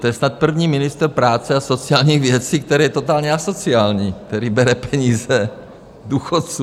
To je snad první ministr práce a sociálních věcí, který je totálně asociální, který bere peníze důchodcům.